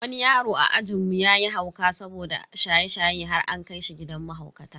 Wani yaro a ajinmu yayi hauka saboda shaye-shaye har an kai shi gidan mahaukata.